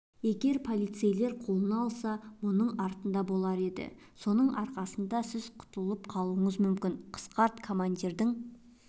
егер полицейлер қолына алса мұның артында болар еді соның арқасында сіз құтқарылып қалуыңыз мүмкін қысқарт командирің